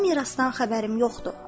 O mirasdan xəbərim yoxdur.